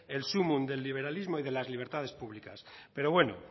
el sumun del liberalismo y de las libertades públicas pero bueno